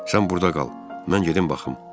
Sən burda qal, mən gedim baxım."